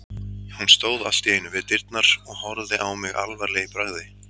Hún stóð allt í einu við dyrnar og horfði á mig alvarleg í bragði.